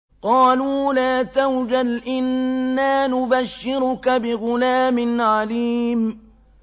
قَالُوا لَا تَوْجَلْ إِنَّا نُبَشِّرُكَ بِغُلَامٍ عَلِيمٍ